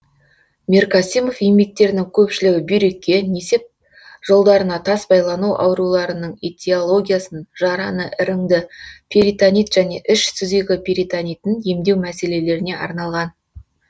миркасимов еңбектерінің көпшілігі бүйрекке несеп жолдарына тас байлану ауруларының этиологиясын жараны іріңді перитонит және іш сүзегі перетонитын емдеу мәселелеріне арналған